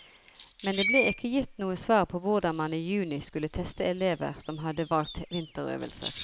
Men det ble ikke gitt noe svar på hvordan man i juni skulle teste elever som hadde valgt vinterøvelser.